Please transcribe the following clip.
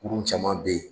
Kurun caman be yen